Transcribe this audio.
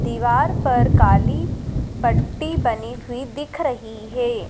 दीवार पर काली पट्टी बनी हुई दिख रही है।